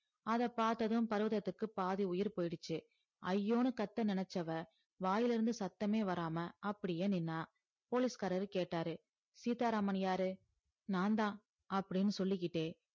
அத பாத்ததும் பருவததுக்கு பாதி உயிர் போய்டிச்சி ஐயோனு கத்த நினைச்சவ வாய்ல இருந்து சத்தமே வராம அப்டியே நின்னா police காரர் கேட்டாரு சீத்தா ராமன் யாரு நான்தான் அப்டின்னு சொல்லிகிட்டே